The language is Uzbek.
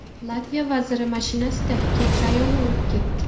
Latviya vaziri mashinasida keksa ayolni urib ketdi.